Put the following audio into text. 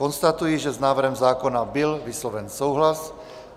Konstatuji, že s návrhem zákona byl vysloven souhlas.